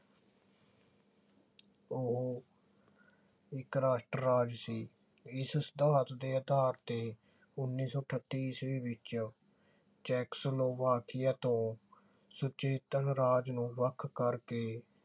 ਇਕ ਰਾਸ਼ਟਰ ਰਾਜ ਸੀ। ਇਸ ਸਿਧਾਂਤ ਦੇ ਆਧਾਰ ਤੇ ਉਨੀ ਸੌ ਅਠੱਤੀ ਈਸਵੀ ਵਿਚ ਚੈਕਸਲੋਵਾਕੀਆ ਤੋਂ ਸੁਚੇਤਨ ਰਾਜ ਨੂੰ ਵੱਖ ਕਰਕੇ